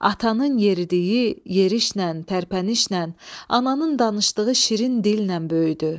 Atanın yeridiyi yerişlə, tərpənişlə, ananın danışdığı şirin dillə böyüdü.